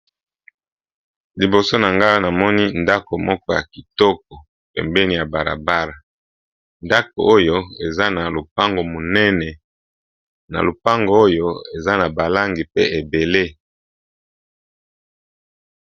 Liboso na nga namoni ndako moko ya kitoko pembeni ya balabala eza na lopango munene eza pe na balangi ebele